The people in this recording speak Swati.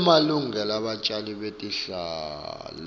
emalungelo ebatjali betihlahla